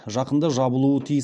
жақында жабылуы тиіс